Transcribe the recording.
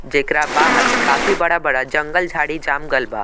जेकरा बाहर काफी बड़ा-बड़ा जंगल-झाड़ी जाम गईल बा।